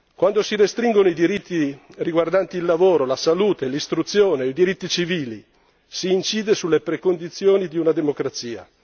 Quando si restringono i diritti riguardanti il lavoro, la salute, l'istruzione, i diritti civili, si incide sulle premesse di una democrazia.